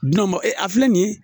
a filɛ nin ye